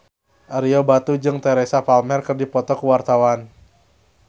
Ario Batu jeung Teresa Palmer keur dipoto ku wartawan